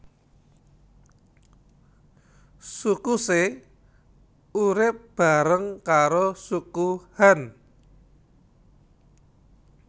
Suku She urip bareng karo Suku Han